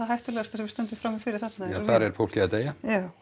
hættulegasta sem við stöndum frammi fyrir þarna já þar er fólki að deyja já